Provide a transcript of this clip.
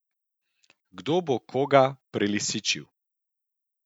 Kdo bo koga prelisičil?